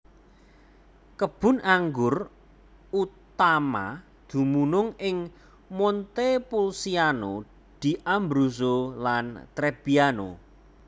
Kebun anggur utama dumunung ing Montepulciano d Abruzzo lan Trebbiano